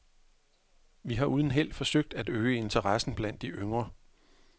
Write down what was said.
Vi har uden held forsøgt at øge interessen blandt de yngre.